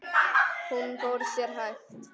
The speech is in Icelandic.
Hún fór sér hægt.